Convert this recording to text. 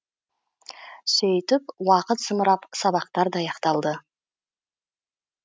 сөйтіп уақыт зымырап сабақтар да аяқталды